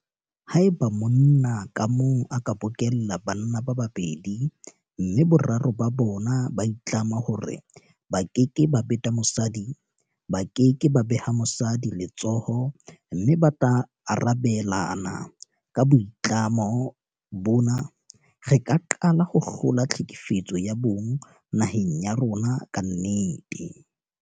Haeba monna ka mong a ka bokella banna ba babedi mme boraro ba bona ba itlama hore ba keke ba beta mosadi, ba ke ke ba beha mosadi letsoho mme ba tla arabelana ka boitlamo bona, re ka qala ho hlola tlhekefetso ya bong naheng ya rona ka nnete.